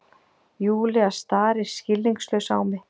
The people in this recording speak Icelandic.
Júlía starir skilningslaus á mig.